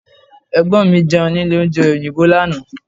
Ẹ̀gbọ́n mi Jẹun nílé oúnjẹ òyìnbó lánàá